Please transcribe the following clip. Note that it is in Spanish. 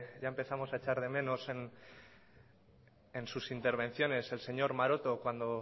ya empezamos a echar de menos en sus intervenciones el señor maroto cuando